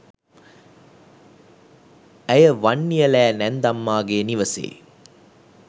ඇය වන්නියලෑ නැන්දම්මාගේ නිවසේ